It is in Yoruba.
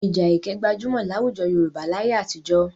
Ìja ẹkẹ gbajúmọ̀ láwùjọ Yorùbá láyé àtijọ́.